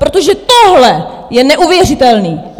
Protože tohle je neuvěřitelné!